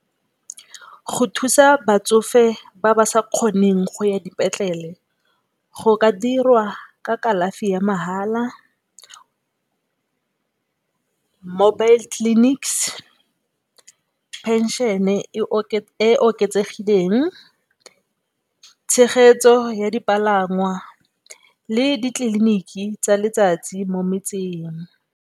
Go thusa batsofe ba ba sa kgoneng go ya dipetlele go ka dirwa ka kalafi ya mahala, mobile clinics, phenšene e e oketsegileng, tshegetso ya dipalangwa le ditleliniki tsa letsatsi mo metseng.